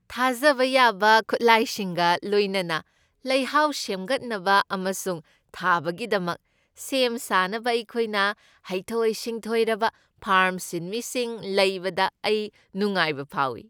ꯊꯥꯖꯕ ꯌꯥꯕ ꯈꯨꯠꯂꯥꯏꯁꯤꯡꯒ ꯂꯣꯏꯅꯅ ꯂꯩꯍꯥꯎ ꯁꯦꯃꯒꯠꯅꯕ ꯑꯃꯁꯨꯡ ꯊꯥꯕꯒꯤꯗꯃꯛ ꯁꯦꯝ ꯁꯥꯅꯕ ꯑꯩꯈꯣꯏꯅ ꯍꯩꯊꯣꯏ ꯁꯤꯡꯊꯣꯏꯔꯕ ꯐꯥꯔꯝ ꯁꯤꯟꯃꯤꯁꯤꯡ ꯂꯩꯕꯗ ꯑꯩ ꯅꯨꯡꯉꯥꯏꯕ ꯐꯥꯎꯏ꯫